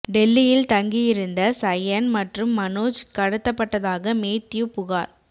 டெல்லியில் தங்கி இருந்த சயன் மற்றும் மனோஜ் கடத்தப்பட்டதாக மேத்யூ புகார்